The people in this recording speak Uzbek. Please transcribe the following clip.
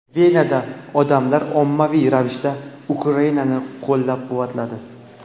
Venada odamlar ommaviy ravishda Ukrainani qo‘llab-quvvatladi.